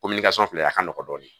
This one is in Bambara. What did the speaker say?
filɛ a ka nɔgɔn dɔɔni